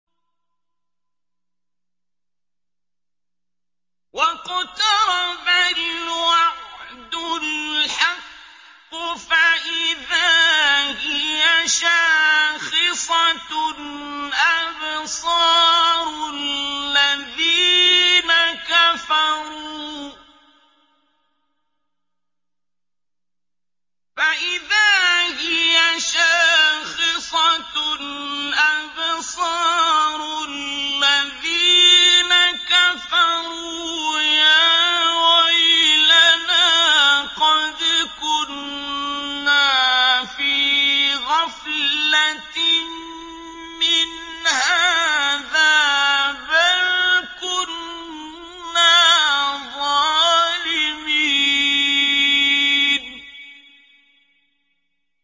وَاقْتَرَبَ الْوَعْدُ الْحَقُّ فَإِذَا هِيَ شَاخِصَةٌ أَبْصَارُ الَّذِينَ كَفَرُوا يَا وَيْلَنَا قَدْ كُنَّا فِي غَفْلَةٍ مِّنْ هَٰذَا بَلْ كُنَّا ظَالِمِينَ